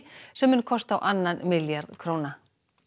sem mun kosta á annan milljarð króna